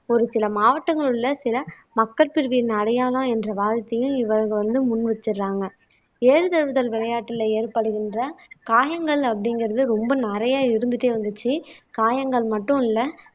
ஒரு சில மாவட்டங்களில் உள்ள சில மக்கள் பிரிவின் அடையாளம் என்ற வார்த்தையில் இவர்கள் வந்து முன் வச்சிடுறாங்க ஏறு தழுவுதல் விளையாட்டுல ஏற்படுகின்ற காயங்கள் அப்படிங்கிறது ரொம்ப நிறைய இருந்துட்டே வந்துச்சு காயங்கள் மட்டும் இல்லை